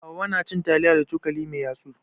Hauwa na cin taliya da cokali mai yatsu.